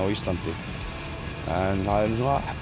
á Íslandi en það er